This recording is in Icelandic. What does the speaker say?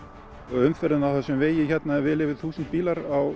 umferðin á þessum vegi er vel yfir þúsund bílar á